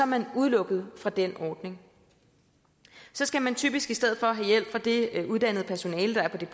man udelukket fra den ordning så skal man typisk i stedet for have hjælp fra det uddannede personale der er på det